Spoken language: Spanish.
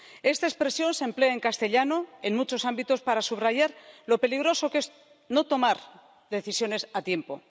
Esta expresión se emplea en castellano, en muchos ámbitos, para subrayar lo peligroso que es no tomar decisiones a tiempo.